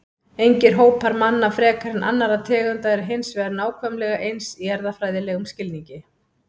Engir hópar manna frekar en annarra tegunda eru hins vegar nákvæmlega eins í erfðafræðilegum skilningi.